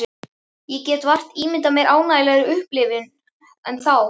Ég get vart ímyndað mér ánægjulegri upplifun en þá.